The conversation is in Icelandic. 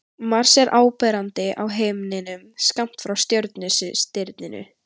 Mars er áberandi á himninum skammt frá Sjöstirninu.